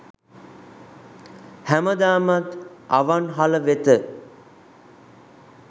හැමදාමත් අවන්හල වෙත